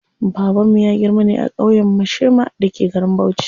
Babanmu ya girma ne a ƙauyen Mashema da ke garin Bauchi.